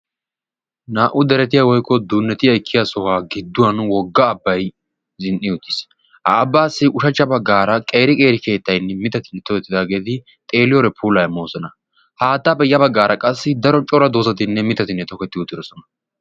naa77u deretiya woykko dunneti ekkiya sohuwa giddon wogga abbay zin77i uttiis. ha abbaassi ushachcha baggaara qeeri qeeri keettaynne mittatinne tohettidaageeti xeeliyoode pulaa immoosona. haattaappe ya baggaara qassi daro cora doozatinne mittatinne toketti uttidosona.